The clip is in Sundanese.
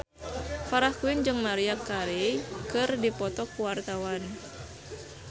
Farah Quinn jeung Maria Carey keur dipoto ku wartawan